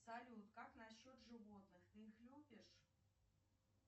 салют как насчет животных ты их любишь